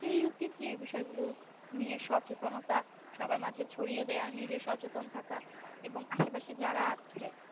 কেই উচিত যে এই বিষয় গুলো নিয়ে সচেতনতা সবার মাঝে ছাড়িয়ে দেওয়া নিজে সচেতন থাকা এবং আসে পাশে যারা আছে